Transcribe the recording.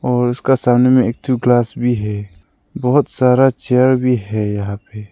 और उसका सामने में एक ठो ग्लास भी है बहोत सारा चेयर भी है यहां पे।